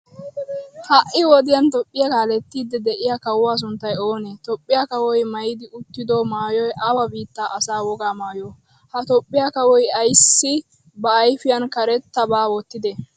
ha'i wodiyan tophiya kaaletiyddi de'iya kaawuwaa sunttay oone? tophiyaa kaawoy maayidi uttido maayoy awa bittaa asaa woga maayyo? ha tophiya kaawoy aysi ba ayfiyan kareetabaa wotide?